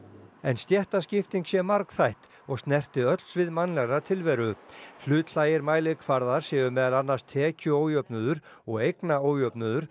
stéttaskipting sé margþætt og snerti öll svið mannlegrar tilveru hlutlægir mælikvarðar séu meðal annars tekjuójöfnuður og eignaójöfnuður